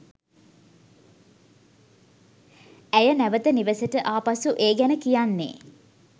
ඇය නැවත නිවෙසට ආ පසු ඒ ගැන කියන්නේ